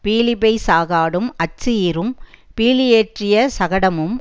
பீலிபெய் சாகாடும் அச்சு இறும் பீலியேற்றிய சகடமும்